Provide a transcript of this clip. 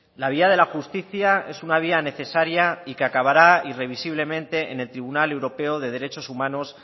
la vía de la justicia es una vía necesaria y que acabará irrevisablemente en el tribunal europeo de derechos humanos